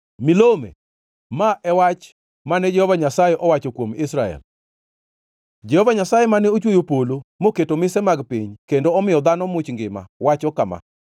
Milome. Ma e wach mane Jehova Nyasaye owacho kuom Israel. Jehova Nyasaye mane ochweyo polo moketo mise mar piny kendo omiyo dhano much ngima, wacho kama: